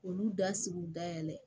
Olu da sigiw dayɛlɛ